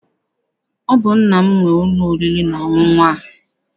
Ọ bụ nna m nwe ụlọ oriri na ọṅụṅụ a.